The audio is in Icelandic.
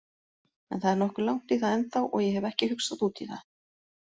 En það er nokkuð langt í það ennþá og ég hef ekki hugsað útí það.